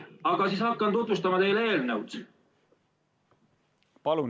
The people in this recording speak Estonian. Ma siis hakkan tutvustama teile eelnõu.